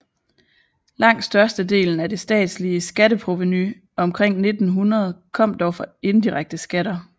Langt størstedelen af det statslige skatteprovenu omkring 1900 kom dog fra indirekte skatter